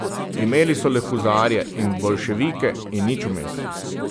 Imeli so le huzarje in boljševike in nič vmes.